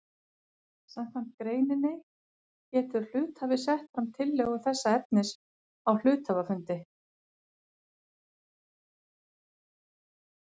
Samkvæmt greininni getur hluthafi sett fram tillögu þessa efnis á hluthafafundi.